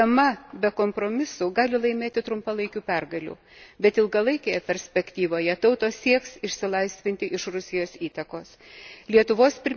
Rusija, žaisdama be kompromisų, gali laimėti trumpalaikių pergalių, bet ilgalaikėje perspektyvoje tautos sieks išsilaisvinti iš Rusijos įtakos.